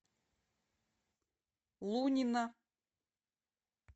лунина